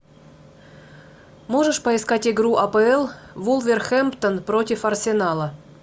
можешь поискать игру апл вулверхэмптон против арсенала